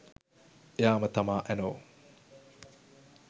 එයාම තමා ඇනෝ